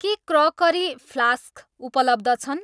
के crockery, flask उपलब्ध छन्?